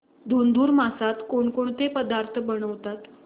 धुंधुर मासात कोणकोणते पदार्थ बनवतात